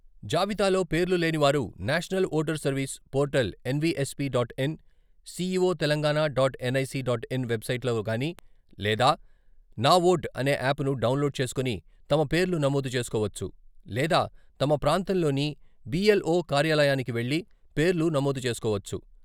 జాబితాలో పేర్లు లేనివారు national voter service portal NVSP dot in, CEO Telangana dot NIC dot in వెబ్సైట్లలోగాని, లేదా నా ఓట్ అనే యాప్ను డౌన్లోడ్ చేసుకొని తమ పేర్లు నమోదు చేసుకోవచ్చు లేదా తమ ప్రాంతంలోని బి.ఎల్.ఓ కార్యాలయానికి వెళ్ళి పేర్లు నమోదు చేసుకోవచ్చు.